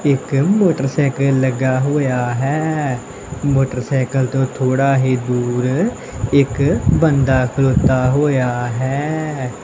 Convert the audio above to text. ਇੱਕ ਮੋਟਰਸਾਈਕਲ ਲੱਗਾ ਹੋਇਆ ਹੈ ਮੋਟਰਸਾਈਕਲ ਤੋਂ ਥੋੜਾ ਹੀ ਦੂਰ ਇੱਕ ਬੰਦਾ ਖਲੋਤਾ ਹੋਇਆ ਹੈ।